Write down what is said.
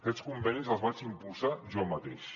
aquests convenis els vaig impulsar jo mateix